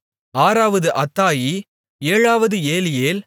ஆறாவது அத்தாயி ஏழாவது ஏலியேல்